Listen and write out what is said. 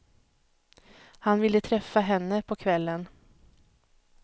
Han ville träffa henne på kvällen.